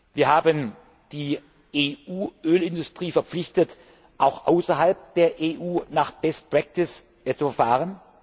Wir haben die EU Ölindustrie verpflichtet, auch außerhalb der EU nach best practice zu verfahren.